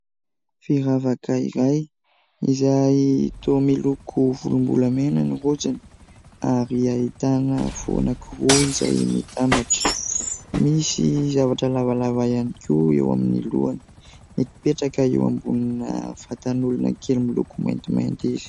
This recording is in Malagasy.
Firavaka iray, izay toa miloko volombolamena ny rojony, ary ahitana fo anankiroa izay mitambatra, misy zavatra lavalava ihany koa eo amin'ny lohany ; mipetraka eo ambonina vatan'olona kely miloko maintimainty izy.